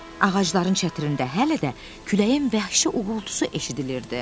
Ağacların çətirində hələ də küləyin vəhşi uğultusu eşidilirdi.